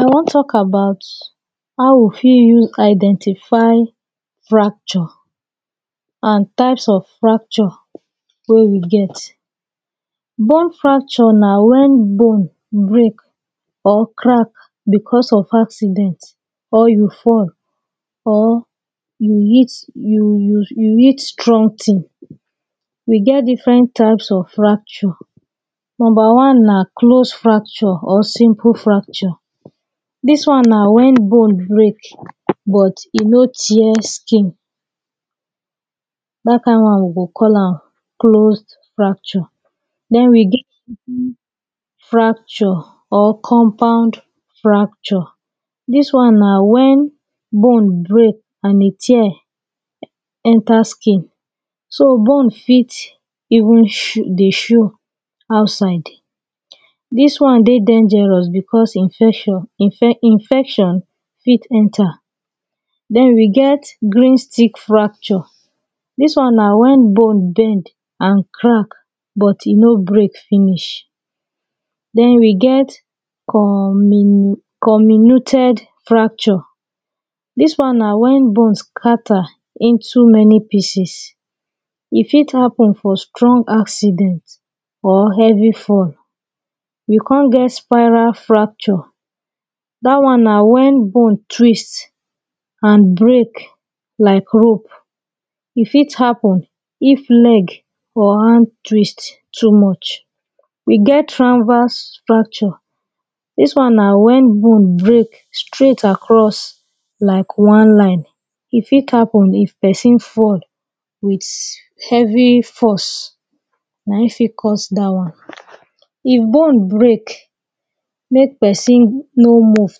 I wan talk about how we fit use Identify fracture and types of fracture wey we get. Bone fracture na when bone break or crack because of accident or you fall or you hit you you hot strong ting we get diffren types of fracture number one na close fracture or simple fracture this one na when bone break but e no tear skin that kind one dem dey call am closed fracture then we get open fracture or compound fracture; this one na when bone break and e tear enter skin so bone fit even dey show outside. This one dey dangerous because infection infe infection fit enter Then we get green stick fracture; this one na when bone bend and crack but e no break finish Then we get cominu cominited fracture this one na when bone scatter into many pieces fit happen for strong accident or heavy fall We come get spiral fracture that one na when bone twist and break like rope e fit happen if leg or hand twist too much E get transverse fracture; this one na when bone break straight across like one line e fit happen if pesin fall with heavy force na him fit cause that one. If bone break make pesin no move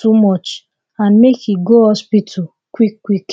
too much and make e go hospital quick quick.